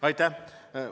Aitäh!